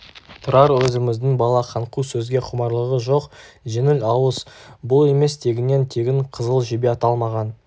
тұрар өзіміздің бала қаңқу сөзге құмарлығы жоқ жеңіл ауыз бұл емес тегіннен тегін қызыл жебе аталмаған